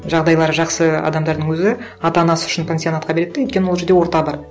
жағдайлары жақсы адамдардың өзі ата анасы үшін пансионатқа береді де өйткені ол жерде орта бар